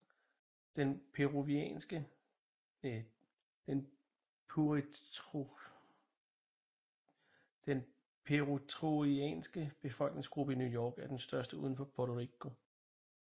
Den puertoricanske befolkningsgruppe i New York er den største uden for Puerto Rico